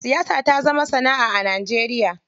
Siyasa ta zama sanaʼa a Najeriya.